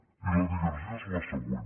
i la digressió és la següent